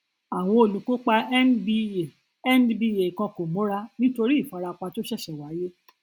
àwọn olùkópa nba nba kan kò múra nítorí ìfarapa tó ṣẹṣẹ wáyé